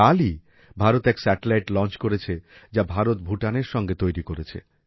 কালই ভারত এক satellite launch করেছে যা ভারত ভুটানের সাথে তৈরি করেছে